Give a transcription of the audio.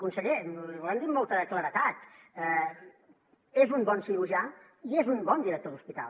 conseller l’hi volem dir amb molta claredat és un bon cirurgià i és un bon director d’hospital